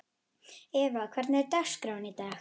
Eva, hvernig er dagskráin í dag?